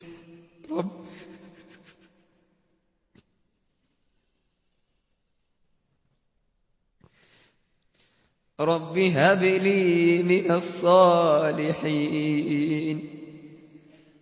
رَبِّ هَبْ لِي مِنَ الصَّالِحِينَ